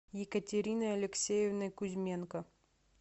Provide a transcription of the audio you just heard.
екатериной алексеевной кузьменко